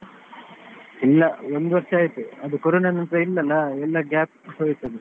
ಇಲ್ಲ ಒಂದು ವರ್ಷ ಆಯ್ತು, ಅದು ಕೊರೊನ ನಂತ್ರ ಇಲ್ಲಾ ಅಲ್ಲ ಎಲ್ಲಾ gap ಹೋಯ್ತು ಅದು.